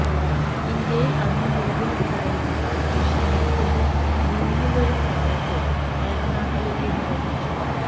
ഇന്ത്യയില് അന്ന് നിലവിലുണ്ടായിരുന്ന ബ്രിട്ടീഷ് സൈന്യത്തിന്റെ മൂന്നിലൊരു ഭാഗത്തെ ഏറനാട്ടിലേക്ക് നിയോഗിച്ചു